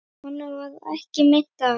Honum varð ekki meint af.